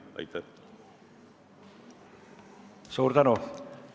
Suur tänu!